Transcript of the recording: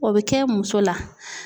O bɛ kɛ muso la.